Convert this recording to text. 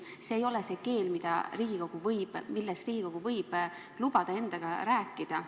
See ei ole see keel, milles Riigikogu võib lubada endaga rääkida.